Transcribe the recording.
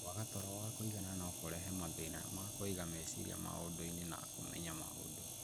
Kwaga toro wa kũigana no kũrehe mathĩna ma kũiga meciria maũndũ-inĩ na kũmenya maũndũ.